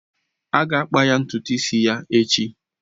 A ga-akpa ntutu isi ya echi